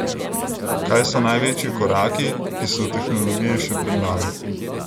Kaj so največji koraki, ki so v tehnologiji še pred nami?